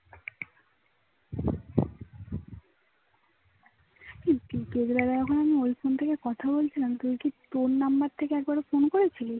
এই বিকাল বেলা যখন ওই phone থেকে কথা বলছিলাম তুই কি তোর number থেকে একবার ও phone করেছিলি